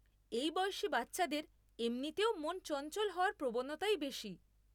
এই বয়সী বাচ্চাদের এমনিতেও মন চঞ্চল হওয়ার প্রবণতাই বেশি।